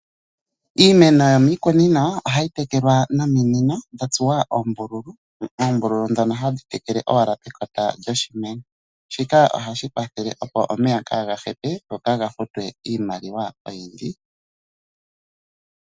Iimeno yomiikunino, ohayi tekelwa nominino dhatsuwa oombululu. Oombululu dhono hadhi tekele owala pekota lyoshimeno. Shika ohashi kwathele omeya opo kaaga hepe, go kaaga futwe iimaliwa oyindji.